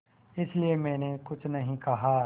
इसलिए मैंने कुछ नहीं कहा